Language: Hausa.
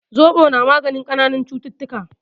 Zobo na magani kananan cututtuka